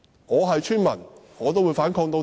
我是村民的話也會反抗到底。